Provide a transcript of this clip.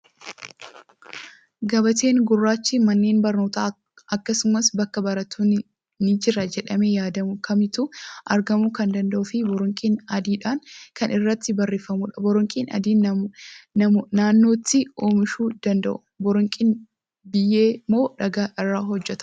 Gabateen gurraachi manneen barnootaa akkasumas bakka barnootni ni Jira jedhamee yaadamu kamittuu argamuu kan danda'uu fi boronqii adiidhaan kan irratti barreeffamudha. Boronqii adiin naannootti oomishuu danda'u. Boronqiin biyyee moo dhagaa irraa hojjatama?